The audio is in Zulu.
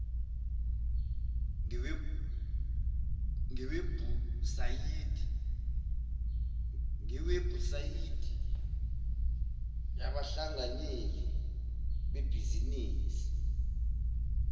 ngewebhusayidi yabahlanganyeli bebhizinisi